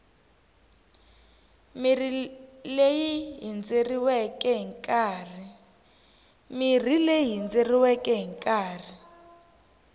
mirhi leyi hindzeriweke hi nkarhi